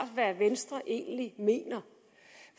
hvad venstre egentlig mener